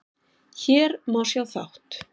Hér má sjá þátt